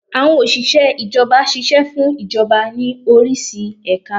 Àwọn Òsìsẹ́ Ìjọba ṣiṣẹ́ fún Ìjọba ní orísi ẹ̀ka